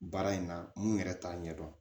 Baara in na mun yɛrɛ t'a ɲɛdɔn